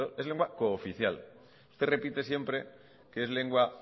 es lengua cooficial usted repite siempre que es lengua